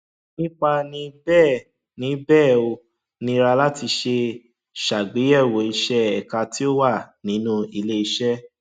nípa ni bẹẹ ni bẹẹ ó nira láti ṣe ṣàgbéyẹwò ìṣe ẹka tí ó wà nínú ilé iṣẹ